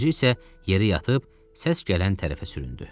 Özü isə yerə yatıb, səs gələn tərəfə süründü.